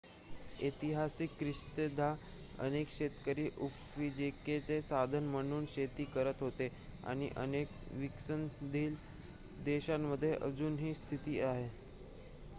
ऐतिहासिकदृष्ट्या अनेक शेतकरी उपजीविकेचे साधन म्हणून शेती करत होते आणि अनेक विकसनशील देशांमध्ये अजूनही ही स्थिती आहे